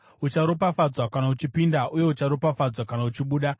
Ucharopafadzwa kana uchipinda uye ucharopafadzwa kana uchibuda.